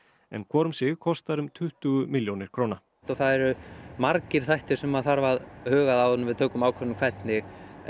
en hvor um sig kostar um tuttugu milljónir króna það eru margir þættir sem þarf að huga að áður en við tökum ákvörðun hvernig